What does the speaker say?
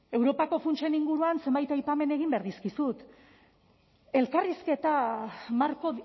europako funtsen inguruan zenbait aipamen egin behar dizkizut elkarrizketa marko